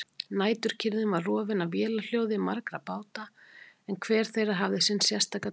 Næturkyrrðin var rofin af vélarhljóði margra báta en hver þeirra hafði sinn sérstaka tón.